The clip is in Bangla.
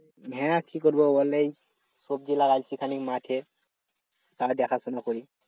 হ্যাঁ কি করব বল এই সবজি লাগাইছি খানিক মাঠে তাই দেখাশোনা করি